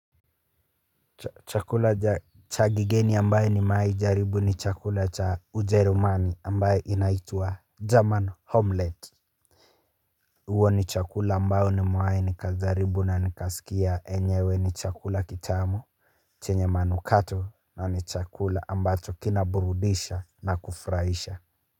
Chakula cha kigeni ambaye nimewai jaribu ni chakula cha ujerumani ambaye inaitwa German Homelette huwa ni chakula ambayo nimewai nikajaribu na nikasikia enyewe ni chakula kitamu chenye manukato na ni chakula ambayo kinaburudisha na kufurahisha.